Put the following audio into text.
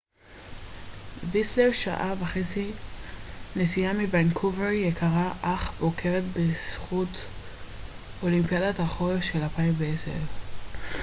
ויסלר שעה וחצי נסיעה מוונקובר יקרה אך מוכרת בזכות אולימפיאדת החורף של 2010